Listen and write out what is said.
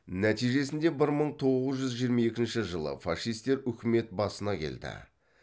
нәтижесінде бір мың тоғыз жүз жиырма екінші жылы фашистер үкімет басына келді